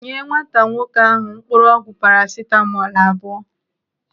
Nye nwata nwoke ahụ mkpụrụọgwụ parasitamọl abụọ!